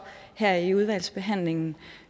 her i udvalgsbehandlingen